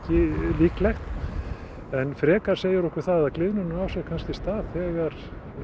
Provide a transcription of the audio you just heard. líklegt en frekar segir okkur það að gliðnunin á sér kannski stað þegar